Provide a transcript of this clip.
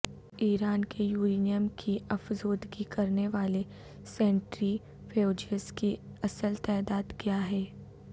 ایران کے یورینیم کی افزودگی کرنے والے سینٹری فیوجز کی اصل تعداد کیا ہے